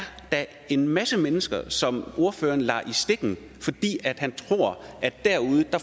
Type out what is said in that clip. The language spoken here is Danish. da en masse mennesker som ordføreren lader i stikken fordi han